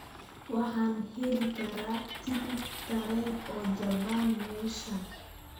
Waxa aan heli karaa tigidh tareen oo jaban meeshan